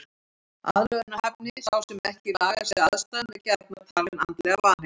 Aðlögunarhæfni Sá sem ekki lagar sig að aðstæðum er gjarnan talinn andlega vanheill.